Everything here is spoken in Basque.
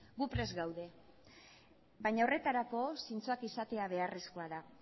gu prest gaude baina horretarako zintzoak izatea beharrezkoa da